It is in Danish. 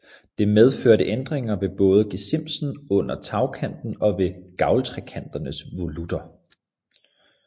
Det medførte ændringer ved både gesimsen under tagkanten og ved gavltrekanternes volutter